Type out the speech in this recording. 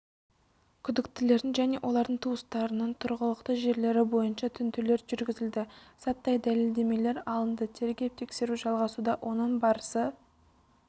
күдіктілердің және олардың туыстарының тұрғылықты жерлері бойынша тінтулер жүргізілді заттай дәлелдемелер алынды тергеп-тексеру жалғасуда оның барысы